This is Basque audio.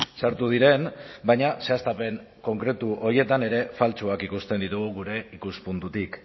sartu diren baina zehaztapen konkretu horietan ere faltsuak ikusten ditugu gure ikuspuntutik